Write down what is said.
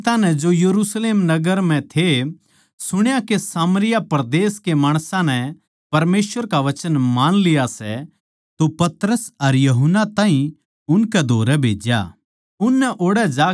जिब प्रेरितां नै जो यरुशलेम नगर म्ह थे सुण्या के सामरिया परदेस के माणसां नै परमेसवर का वचन मान लिया सै तो पतरस अर यूहन्ना ताहीं उनकै धोरै भेज्या